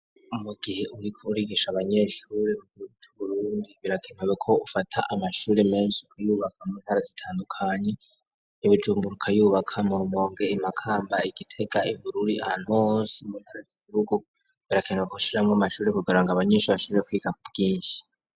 Mugihe uriko urigisha abanyeshure mu Burundi birakeneweko ufata amashure menshi kuyubaka mwo ntara zitandukanye ibijumburuka yubaka mumonge imakamba igitega ibururi anonsi mu ntarazizrugu barakendwa kushiramwo amashure kugira ngo abanyinshi bashije kwiga ku bwinshi.